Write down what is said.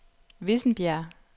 Vissenbjerg